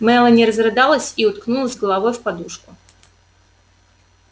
мелани разрыдалась и уткнулась головой в подушку